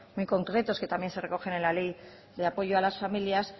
muy concretos que también se recogen en la ley de apoyo a las familias